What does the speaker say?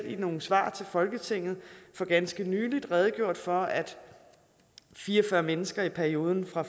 i nogle svar til folketinget for ganske nylig redegjort for at fire og fyrre mennesker i perioden fra